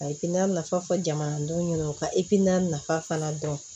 A ye na nafa fɔ jamanadenw ɲɛna u ka i n'a nafa fana dɔn